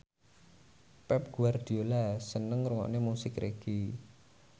Pep Guardiola seneng ngrungokne musik reggae